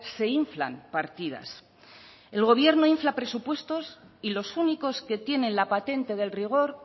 se inflan partidas el gobierno infla presupuestos y los únicos que tienen la patente del rigor